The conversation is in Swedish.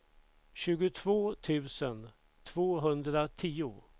tjugotvå tusen tvåhundratio